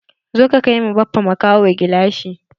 Zo ka kai ma Baffa makaho gilashi!